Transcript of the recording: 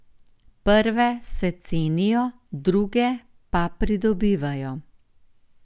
Prve se cenijo, druge pa pridobivajo.